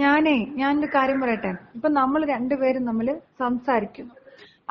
ഞാനേ ഞാനൊരു കാര്യം പറയട്ടെ, ഇപ്പോ നമ്മള് രണ്ടുപേരും തമ്മില് സംസാരിക്കുന്നു.